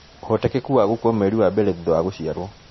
Ũhotekeku wa gũkua mweri wa mbere thutha wa gũciarwo